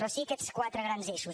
però sí aquests quatre grans eixos